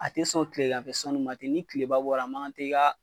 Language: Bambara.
A tɛ sɔn tileganfɛ sɔnni ma ten, ni tileba bɔra , a man kan tɛ